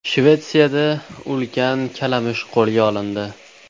Shvetsiyada ulkan kalamush qo‘lga olindi.